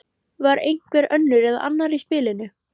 Var einhver önnur eða annar í spilinu?